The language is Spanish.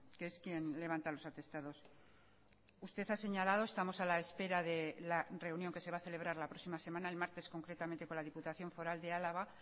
que es quien levanta los atestados usted ha señalado estamos a la espera de la reunión que se va a celebrar la próxima semana el martes concretamente con la diputación foral de álava